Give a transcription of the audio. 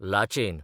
Lachen